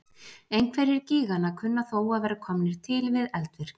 Einhverjir gíganna kunna þó að vera komnir til við eldvirkni.